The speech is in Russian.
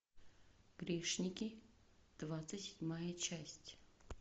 грешники двадцать седьмая часть